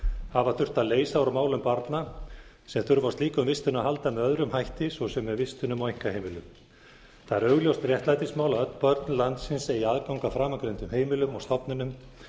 hafa þurft að leysa úr málum barna sem þurfa á slíkum vistunum að halda með öðrum hætti svo sem með vistunum á einkaheimilum það er augljóst réttlætismál að öll börn landsins eigi aðgang að framangreindum heimilum og stofnunum